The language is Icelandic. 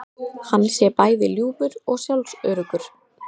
Hann sé bæði ljúfur og sjálfsöruggur